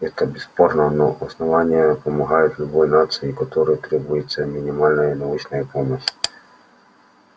это бесспорно но основание помогает любой нации которой требуется минимальная научная помощь